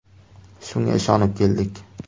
Shunga ishonib keldik.